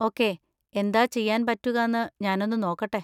Okay, എന്താ ചെയ്യാൻ പറ്റുകാന്ന് ഞാനൊന്ന് നോക്കട്ടെ.